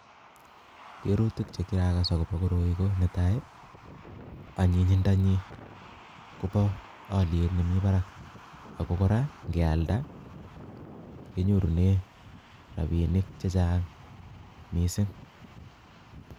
Keruutik chekirakas akobo koroi ko netai ko anyinyindanyin koboo oliet nemi barak ,akkora ingealda kenyorunen rabinik chechang missing